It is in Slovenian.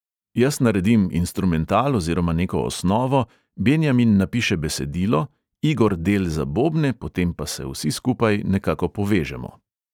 Jaz naredim instrumental oziroma neko osnovo, benjamin napiše besedilo, igor del za bobne, potem pa se vsi skupaj nekako povežemo.